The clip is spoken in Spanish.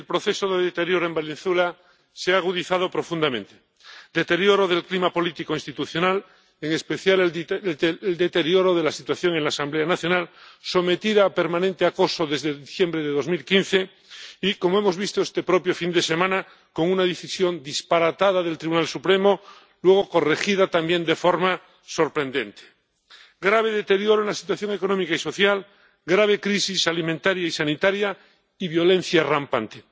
Señor presidente, el proceso de deterioro en Venezuela se ha agudizado profundamente. Deterioro del clima político institucional, en especial deterioro de la situación en la Asamblea Nacional, sometida a permanente acoso desde diciembre de 2015 y, como hemos visto este propio fin de semana, objeto de una decisión disparatada del Tribunal Supremo, luego corregida también de forma sorprendente. Grave deterioro en la situación económica y social, grave crisis alimentaria y sanitaria y violencia rampante.